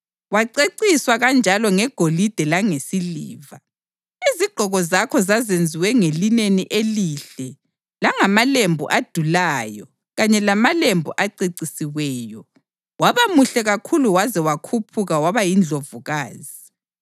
Waceciswa kanjalo ngegolide langesiliva; izigqoko zakho zazenziwe ngelineni elihle langamalembu adulayo kanye lamalembu acecisiweyo. Waba muhle kakhulu waze wakhuphuka waba yindlovukazi.